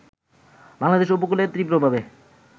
বাংলাদেশ উপকূলে তীব্রভাবে